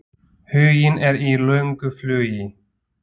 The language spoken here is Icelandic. Huginn er í löngu flugi.